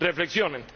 Reflexionen.